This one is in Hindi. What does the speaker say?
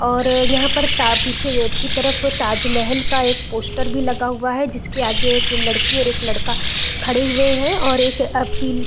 और यहाँ पर ता पीछे गेट की तरफ ताजमहल का एक पोस्टर भी लगा हुआ है जिसके आगे एक लड़की और एक लड़का खड़े हुए है और एक अ पी --